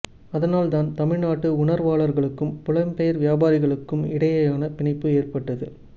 அதனால் தான் தமிழ் நாட்டு உணர்வாளர்களுக்கும் புலம்பெயர் வியாபாரிகளுக்கும் இடையேயான பிணைப்பு ஏற்பட்டது